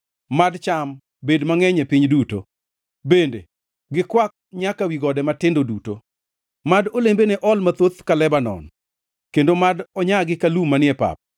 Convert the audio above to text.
Mad cham bed mangʼeny e piny duto, bende gikwak nyaka wi godo matindo duto. Mad olembene ol mathoth ka Lebanon, kendo mad onyagi ka lum manie pap.